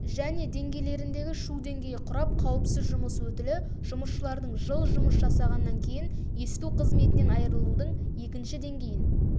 және деңгейлеріндегі шу деңгейі құрап қауіпсіз жұмыс өтілі жұмысшылардың жыл жұмыс жасағаннан кейін есту қызметінен айырылудың екінші деңгейін